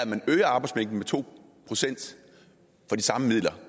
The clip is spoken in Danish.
man øger arbejdsmængden med to procent for de samme midler